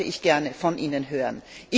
Das wollte ich gerne von Ihnen hören!